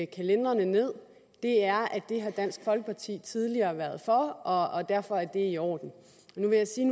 kalenderne ned at det har dansk folkeparti tidligere været for og derfor er det i orden nu vil jeg sige